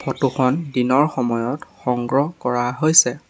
Photo খন দিনৰ সময়ত সংগ্ৰহ কৰা হৈছে।